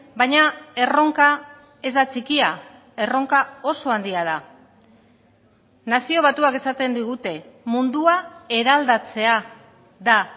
baina erronka ez da txikia erronka oso handia da nazio batuak esaten digute mundua eraldatzea da